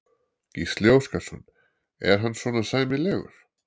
Gísli Óskarsson: Er hann svona sæmilegur?